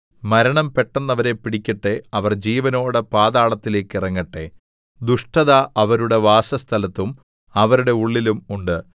മരണം പെട്ടെന്ന് അവരെ പിടിക്കട്ടെ അവർ ജീവനോടെ പാതാളത്തിലേക്ക് ഇറങ്ങട്ടെ ദുഷ്ടത അവരുടെ വാസസ്ഥലത്തും അവരുടെ ഉള്ളിലും ഉണ്ട്